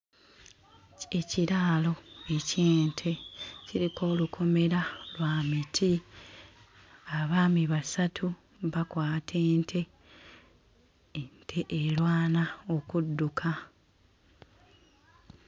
Ekiraalo eky'ente, kiriko olukomera lwa miti, abaami basatu bakwata ente, ente erwana okudduka.